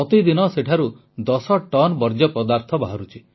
ପ୍ରତିଦିନ ସେଠାରୁ 10 ଟନ୍ ବର୍ଜ୍ୟ ପଦାର୍ଥ ବାହାରୁଛି